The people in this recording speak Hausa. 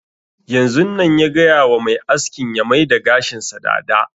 Yanzun nan ya gaya wa mai askin ya maida gashin sa dada